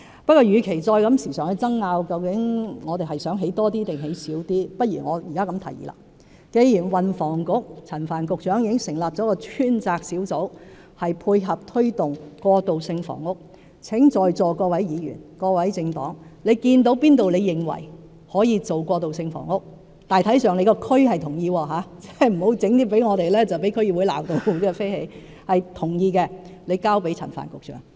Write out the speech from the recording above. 不過，與其不斷爭拗我們想興建多少過渡性房屋，倒不如我現在提出建議：既然運輸及房屋局局長陳帆已經成立了一個專責小組，配合推動過渡性房屋，如果在座各位議員、各個政黨看到哪處可用作提供過渡性房屋——但要得到地區人士大致同意，可不要向我們提出一些及後會被區議會大罵的建議——請交給陳帆局長。